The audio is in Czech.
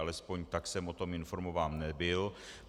Alespoň tak jsem o tom informován nebyl.